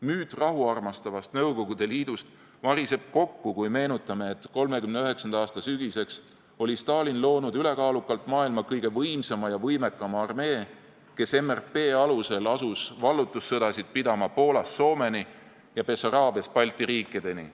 Müüt rahuarmastavast Nõukogude Liidust variseb kokku, kui meenutame, et 1939. aasta sügiseks oli Stalin loonud ülekaalukalt maailma kõige võimsama ja võimekama armee, kes MRP alusel asus vallutussõdasid pidama Poolast Soomeni ja Bessaraabiast Balti riikideni.